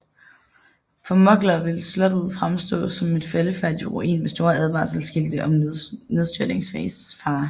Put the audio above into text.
For mugglere vil slottet fremstår som en faldefærdig ruin med store advarselsskilte om nedstyrtningsfare